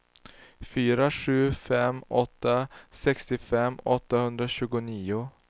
fyra sju fem åtta sextiofem åttahundratjugonio